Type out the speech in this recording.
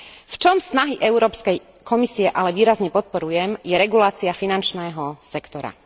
V čom snahy Európskej komisie ale výrazne podporujem, je regulácia finančného sektora.